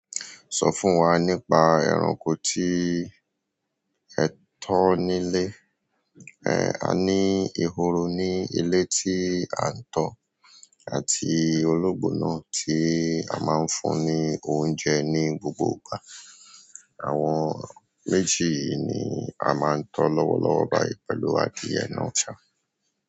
Sọ fún wa nípa ẹranko tí ẹ tọ́ nílé. Ẹ̀, a ní ehoro ní ilé tí à ń tọ́ àti ológbò náà tí a máa ń fún ní oúnjẹ ní gbogbo ìgbà. Àwọn méjì yí ni a máa ń tọ́ lọ́wọ́lọ́wọ́ báyìí pẹ̀lú adìẹ náà, ṣá.